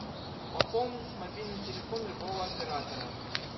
пополнить мобильный телефон любого оператора